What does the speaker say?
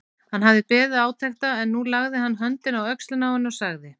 Hann hafði beðið átekta en nú lagði hann höndina á öxlina á henni og sagði